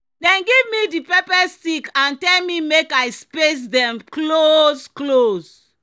"dem give me di pepper stick and tell me make i space dem close-close."